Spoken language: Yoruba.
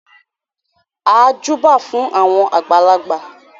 A júbà fún àwọn àgbàlagbà.